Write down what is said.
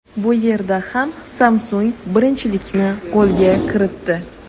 Bu yerda ham Samsung birinchilikni qo‘lga kiritdi.